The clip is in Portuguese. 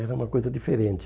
Era uma coisa diferente.